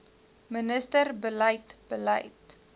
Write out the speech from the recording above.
minister beleid beleid